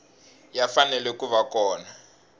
ya fanele ku va kona